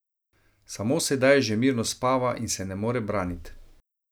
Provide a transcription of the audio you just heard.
Samo sedaj že mirno spava in se ne more branit.